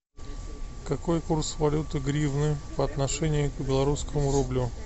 какой курс валюты гривны по отношению к белорусскому рублю